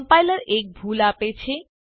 compiler એક ભૂલ આપે છે